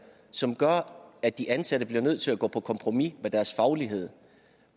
som gør at de ansatte bliver nødt til at gå på kompromis med deres faglighed